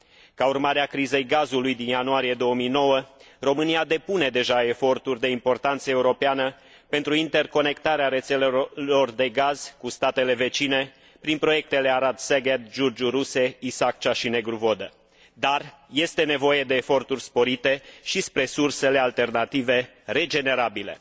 Ca urmare a crizei gazului din ianuarie 2009, România depune deja eforturi de importanță europeană pentru interconectarea rețelelor de gaz cu statele vecine prin proiectele Arad Szeged, Giurgiu Ruse, Isaccea și Negru Vodă, dar este nevoie de eforturi sporite și spre sursele alternative, regenerabile.